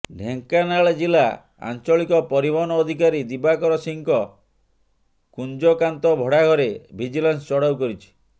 ଢ଼େଙ୍କାନାଳ ଜିଲା ଆଚଂଳିକ ପରିବହନ ଅଧିକାରୀ ଦିବାକର ସିଂଙ୍କ କୁଂଜକାନ୍ତ ଭଡ଼ା ଘରେ ଭିଜିଲାନ୍ସ ଚଢ଼ାଉ କରିଛି